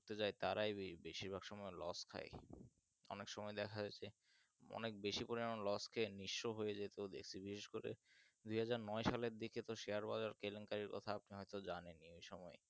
করতে যাই তারাই বেশিরভাগ সময় loss খাই অনেক সময় দেখা যাচ্ছে অনেক বেশি পরিমাণ loss খেয়ে নিঃস্ব হয়ে যেতেও দেখছি বিশেষ করে দুহাজার নয় সালের দিকেতো share বাজার কেলেঙ্কারের কথা আপনারা তো জানেনই ওই সময়